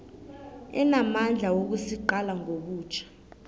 enamandla wokusiqala ngobutjha